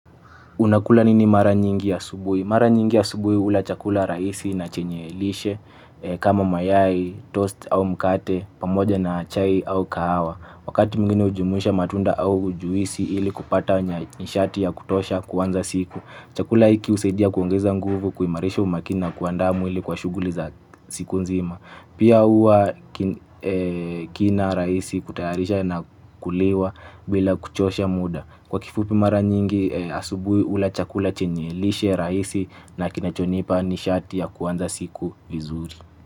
Unakula nini mara nyingi ya asubui? Mara nyingi ya asubui hula chakula rahisi na chenye lishe kama mayai toast au mkate, pamoja na chai au kahawa. Wakati mwingini ujumuisha matunda au juisi ili kupata nishati ya kutosha kuanza siku. Chakula iki husaidia kuongeza nguvu kuimarisha umakini na kuandaa mwili kwa shuguli za siku nzima. Pia huwa kina rahisi kutaharisha na kuliwa bila kuchosha muda. Kwa kifupi mara nyingi asubui ula chakula chenye lishe rahisi na kinachonipa nishati ya kuanza siku vizuri.